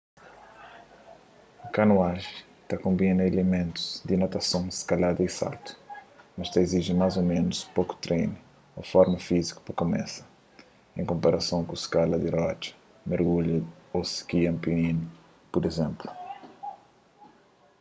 kanoajen ta konbina ilimentus di natason skalada y saltu - mas ta iziji más ô ménus poku trenu ô forma fíziku pa kumesa en konparason ku skala di rotxa mergudja ô ski alpinu pur izénplu